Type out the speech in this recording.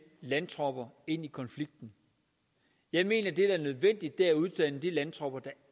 landtropper ind i konflikten jeg mener at det der er nødvendigt er at uddanne de landtropper der